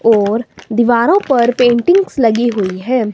और दीवारों पर पेंटिंग्स लगी हुई है।